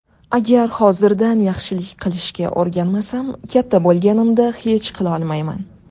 Agar hozirdan yaxshilik qilishga o‘rganmasam, katta bo‘lganimda hech qilolmayman.